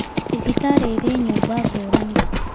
Thibitarĩ irĩ nyumba ngũrani